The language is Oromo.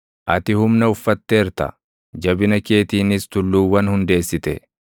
ati humna uffatteerta; jabina keetiinis tulluuwwan hundeessite;